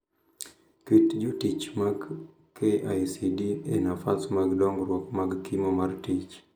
Ket jotich mag KICD e nafas mag dongruok mag kimo mar tich